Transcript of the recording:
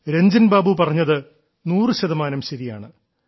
രഞ്ജൻ ബാബു പറഞ്ഞത് നൂറുശതമാനം ശരിയാണ്